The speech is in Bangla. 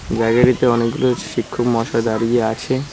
গ্যালারিতে অনেকগুলো শিক্ষক মহাশয় দাঁড়িয়ে আছে।